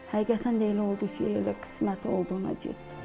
Həqiqətən də elə oldu ki, elə qismət olduğuna getdim.